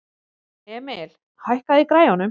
Emil, hækkaðu í græjunum.